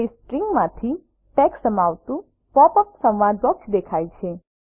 તે સ્ટ્રિંગમાંથી ટેક્સ્ટ સમાવતું પોપ અપ સંવાદ બોક્સ દેખાય છે